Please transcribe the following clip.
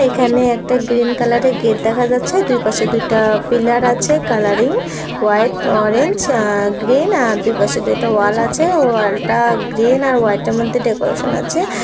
এখানে একটা green colour এর গেট দেখা যাচ্ছে দুই পাশে দুইটা পিলার আছে colouring white orange uh green আর দুই পাশে দুইটা ওয়াল আছে ওয়াল টা গ্রিন আর হোয়াইট এর মধ্যে ডেকোরেশন আছে।